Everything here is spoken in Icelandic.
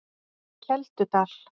Keldudal